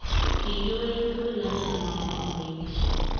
Kikiwei tugul lakini mamwaiwech kiy.